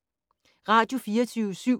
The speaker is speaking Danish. Radio24syv